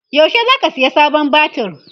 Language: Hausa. yaushe zaka saya sabon batir?